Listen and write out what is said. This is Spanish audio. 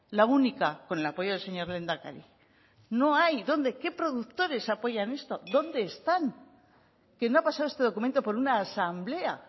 la única con el apoyo del señor lehendakari no hay dónde qué productores apoyan esto dónde están que no ha pasado este documento por una asamblea